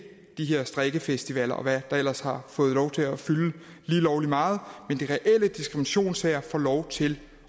de her strikkefestivaler og hvad der ellers har fået lov til at fylde lige lovlig meget får lov til